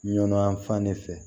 Ɲɔnyan fan de fɛ